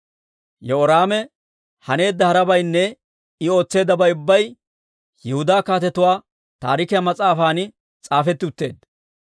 Yehoraame haneedda harabaynne I ootseeddabay ubbay Yihudaa Kaatetuu Taarikiyaa mas'aafan s'aafetti utteedda.